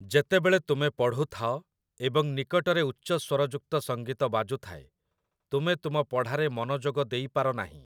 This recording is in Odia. ଯେତେବେଳେ ତୁମେ ପଢୁଥାଅ ଏବଂ ନିକଟରେ ଉଚ୍ଚସ୍ୱରଯୁକ୍ତ ସଂଗୀତ ବାଜୁଥାଏ ତୁମେ ତୁମ ପଢ଼ାରେ ମନଯୋଗ ଦେଇପାରନାହିଁ ।